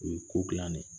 O ye ko gilan ne